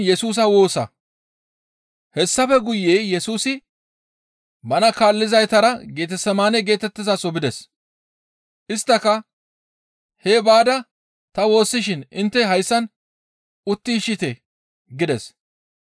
Hessafe guye Yesusi bana kaallizaytara Getesemaane geetettizaso bides. Isttaka, «Hee baada ta woossishin intte hayssan uttiishshite» gides.